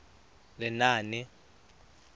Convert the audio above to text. lenaane